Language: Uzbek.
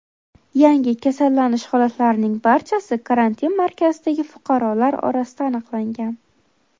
Yangi kasallanish holatlarining barchasi karantin markazidagi fuqarolar orasida aniqlangan.